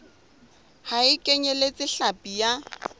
ha e kenyeletse hlapi ya